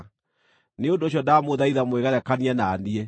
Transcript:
Nĩ ũndũ ũcio ndamũthaitha mwĩgerekanie na niĩ.